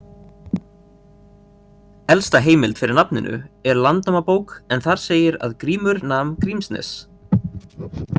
Elsta heimild fyrir nafninu er Landnámabók en þar segir að Grímur nam Grímsnes.